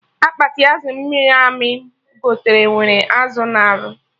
Akpati azụ amịrị amị m gote nwere azụ narị